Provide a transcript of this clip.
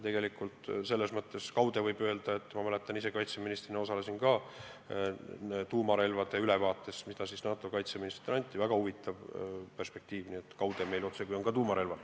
Tegelikult võib kaude öelda – ma kaitseministrina kuulasin ka tuumarelvade ülevaadet, mis NATO kaitseministritele anti –, et meil otsekui on ka tuumarelvad.